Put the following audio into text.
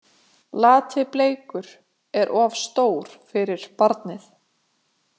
Lati- Bleikur er of stór fyrir barnið.